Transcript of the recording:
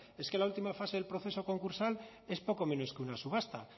es que la última fase del proceso concursal es poco menos que una subasta